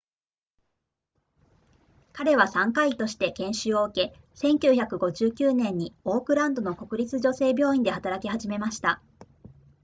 彼は産科医として研修を受け1959年にオークランドの国立女性病院で働き始めました